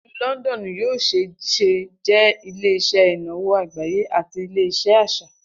Ilu Lọndọnu yoo ṣee ṣe jẹ ile-iṣẹ inawo agbaye ati ile-iṣẹ aṣa.